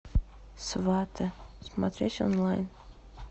сваты смотреть онлайн